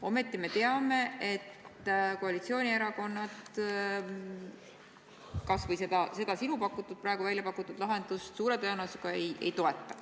Ometi me teame, et koalitsioonierakonnad kas või seda sinu praegu välja pakutud lahendust suure tõenäosusega ei toeta.